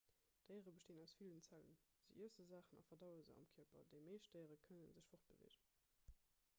déiere bestinn aus villen zellen se iesse saachen a verdaue se am kierper déi meescht déiere kënne sech fortbeweegen